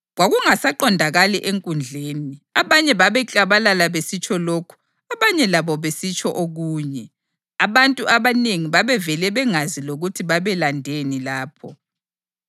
Kwakungasaqondakali enkundleni: Abanye babeklabalala besitsho lokhu, abanye labo besitsho okunye. Abantu abanengi babevele bengazi lokuthi babelandeni lapho.